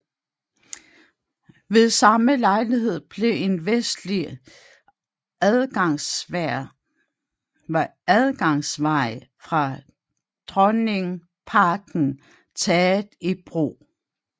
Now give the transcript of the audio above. Ved samme lejlighed blev en vestlig adgangsvej fra Dronningparken taget i brug